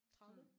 30